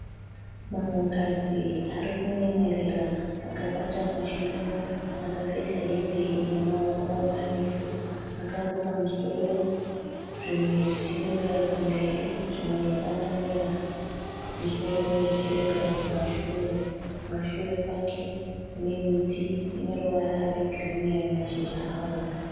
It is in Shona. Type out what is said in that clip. Munhukadzi ari kunyemwerera akabata muchiuno. Akapfeka hembe ine maoko marefu. Akaruka musoro zvimwe zvichirembera kumberi zvimwe zvakanamira pamusoro zvichirembera kumashure. Kumashure kwake kune miti ine ruvara rwegirini mashizha awo.